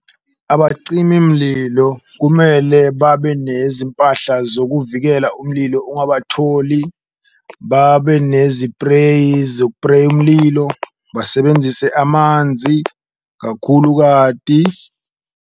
Mlilo kumele babe nezimpahla zokuvikela umlilo ungabatholi, babe nezipreyi zokupreya umlilo, basebenzise amanzi kakhulu kati.